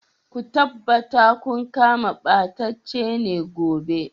Ku tabbata kun kama ɓatacine gobe.